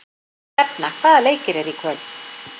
Hrefna, hvaða leikir eru í kvöld?